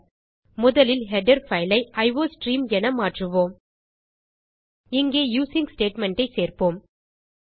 முதலில் header file ஐ என மாற்றுவோம் இங்கே யூசிங் ஸ்டேட்மெண்ட் ஐ சேர்ப்போம்